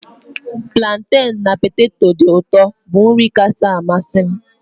Planten na poteto dị ụtọ bụ nri kacha amasị m